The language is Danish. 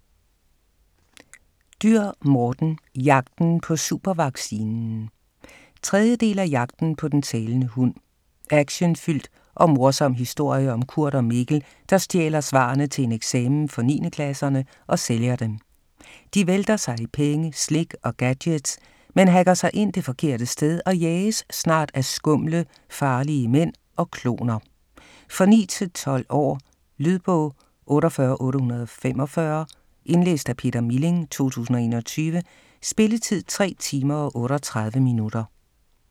Dürr, Morten: Jagten på supervaccinen 3. del af Jagten på den talende hund. Actionfyldt og morsom historie om Kurt og Mikkel, der stjæler svarene til en eksamen for 9. klasserne og sælger dem. De vælter sig i penge, slik og gadgets, men hacker sig ind det forkerte sted og jages snart af skumle, farlige mænd og kloner. For 9-12 år. Lydbog 48845 Indlæst af Peter Milling, 2021. Spilletid: 3 timer, 38 minutter.